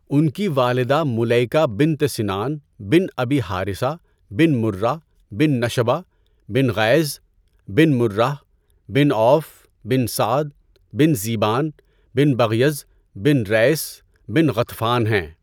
ان کی والدہ مُلَیکہ بنتِ سِنان بن ابی حارِثہ بن مُرّہ بن نشبہ بن غیظ بن مُرّہ بن عوف بن سعد بن ذِبیان بن بغیظ بن ریث بن غطفان ہیں۔